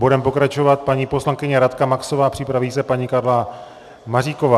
Bude pokračovat paní poslankyně Radka Maxová, připraví se paní Karla Maříková.